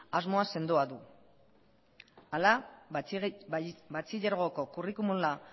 asmo sendoa du hala batxilergoko curriculuma